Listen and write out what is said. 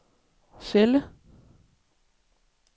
celle